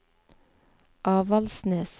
Avaldsnes